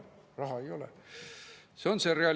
Parandan: te jääte pidevalt vahele, aga teid kunagi ei karistata.